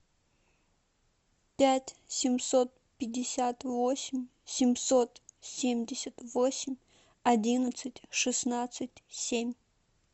пять семьсот пятьдесят восемь семьсот семьдесят восемь одиннадцать шестнадцать семь